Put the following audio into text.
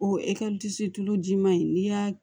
O tulu ji ma ɲi n'i y'a